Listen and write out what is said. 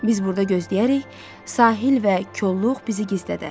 Biz burda gözləyərik, sahil və kolluq bizi gizlədər.